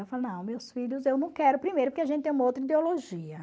Falei, não, meus filhos eu não quero primeiro, porque a gente tem uma outra ideologia.